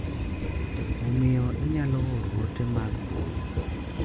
Omiyo inyalo oro ote mag mbui,